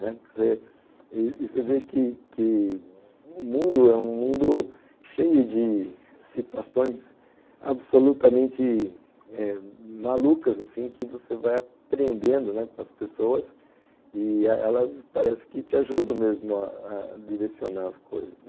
Né...Que dizer, você vê que que o mundo é um mundo cheio de situações absolutamente malucas eh que você vai aprendendo com as pessoas e elas parecem que te ajudam mesmo a a direcionar as coisas.